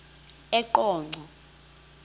eqonco